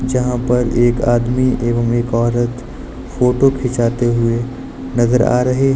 जहां पर एक आदमी एवं एक औरत फोटो खींचाते हुए नजर आ रहे हैं।